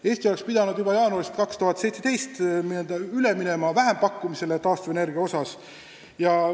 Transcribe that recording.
–, Eesti oleks pidanud juba jaanuarist 2017 taastuvenergia osas üle minema vähempakkumisele.